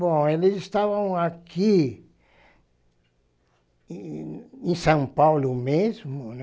Bom, eles estavam aqui em em São Paulo mesmo, né?